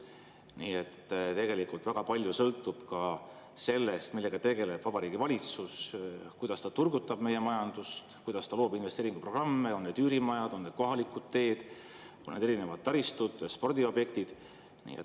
Nii et tegelikult väga palju sõltub sellest, millega tegeleb Vabariigi Valitsus – kuidas ta turgutab meie majandust, kuidas ta loob investeeringuprogramme, on need üürimajad, on need kohalikud teed, on need erinevad taristud või spordiobjektid.